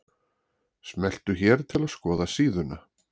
Smelltu hér til að skoða síðuna